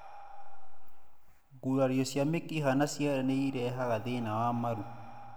Gurario ya mĩkiha na ciara nĩ ĩrehaga thina wa maru.